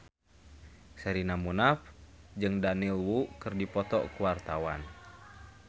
Sherina Munaf jeung Daniel Wu keur dipoto ku wartawan